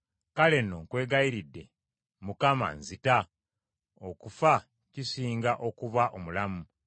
Kale nno nkwegayiridde Mukama nzita; okufa kisinga okuba omulamu.”